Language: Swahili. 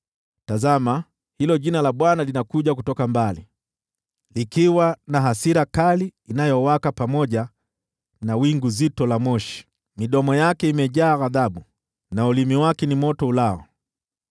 Tazama, Jina la Bwana linakuja kutoka mbali, likiwa na hasira kali inayowaka pamoja na wingu zito la moshi, midomo yake imejaa ghadhabu na ulimi wake ni moto ulao.